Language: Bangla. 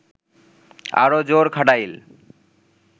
আরও জোর খাটাইল